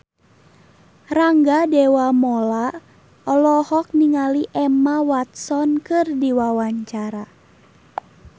Rangga Dewamoela olohok ningali Emma Watson keur diwawancara